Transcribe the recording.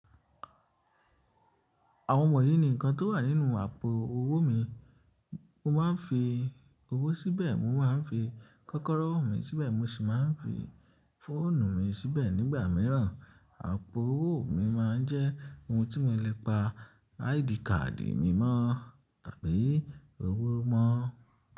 Àwọn wọ̀nyí ni ǹkan tó wà nínú àpò owó mi. Mo máa ń fi owó síbẹ̀, mo máa ń fi kọ́kọ́rọ́ mi síbẹ̀, mo sì máa ń fi fóònù mi síbẹ̀ nígbà mìíràn. Àpò owó mi máa ń jẹ́ ohun tí mo lè pa áìdí kàdì mi mọ́ tàbí owó mọ́